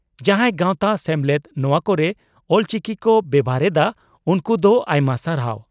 ᱡᱟᱦᱟᱸᱭ ᱜᱟᱣᱛᱟ/ᱥᱮᱢᱞᱮᱫ ᱱᱚᱣᱟ ᱠᱚᱨᱮ ᱚᱞᱪᱤᱠᱤ ᱠᱚ ᱵᱮᱵᱷᱟᱨ ᱮᱫᱼᱟ, ᱩᱱᱠᱩ ᱫᱚ ᱟᱭᱢᱟ ᱥᱟᱨᱦᱟᱣ ᱾